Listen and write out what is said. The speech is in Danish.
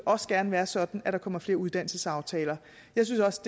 også gerne være sådan at der kommer flere uddannelsesaftaler jeg synes også